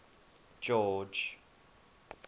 george